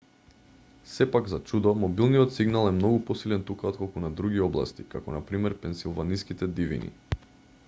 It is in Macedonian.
сепак за чудо мобилниот сигнал е многу посилен тука отколку на други области како на пр пенсилваниските дивини